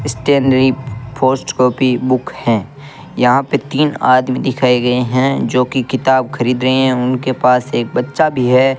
Stationary first copy book है यहां पे तीन आदमी दिखाए गए हैं जो की किताब खरीद रहे हैं उनके पास एक बच्चा भी है।